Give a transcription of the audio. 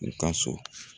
U ka so